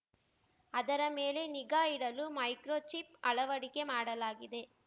ಅದರ ಮೇಲೆ ನಿಗಾ ಇಡಲು ಮೈಕ್ರೋಚಿಪ್‌ ಅಳವಡಿಕೆ ಮಾಡಲಾಗಿದೆ